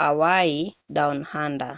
hawaii down under